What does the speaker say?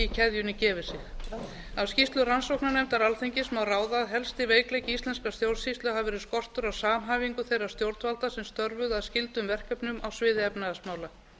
keðjunni gefi sig af skýrslu rannsóknarnefndar alþingis má ráða að helsti veikleiki íslenskrar stjórnsýslu hafi verið skortur á samhæfingu þeirra stjórnvalda sem störfuðu að skyldum verkefnum á sviði efnahagsmála